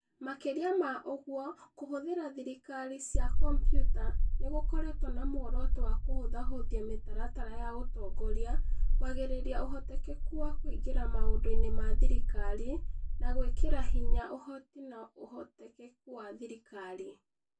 Makĩria ma ũguo, kũhũthĩra thirikari cia kompiuta nĩ gũkoretwo na muoroto wa kũhũthahũthia mĩtaratara ya ũtongoria, kwagagĩria ũhotekeku wa kũingĩra maũndũ-inĩ ma thirikari, na gwĩkĩra hinya ũhoti na ũhotekeku wa thirikari.